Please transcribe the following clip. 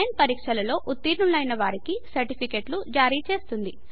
online పరీక్షలలో ఉత్తిర్ణులైన వారికి సర్టిఫికెట్లు జారిచేస్తుంది